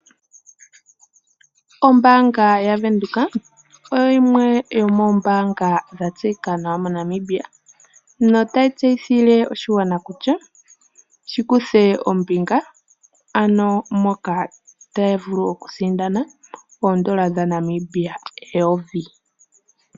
Ombaanga yaVenduka oyo yimwe yomombaangq dha tseyika nawa mNamibia totaa tseyithile oshigwana kutya shi kuthe ombinga ano taya vulu okusindana eedola dhaNamibia eyovi.